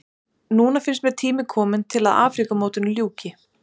Núna finnst mér tími kominn til að Afríkumótinu ljúki.